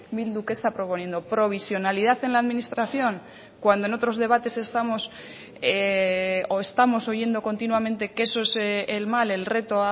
bildu qué está proponiendo provisionalidad en la administración cuando en otros debates estamos o estamos oyendo continuamente que eso es el mal el reto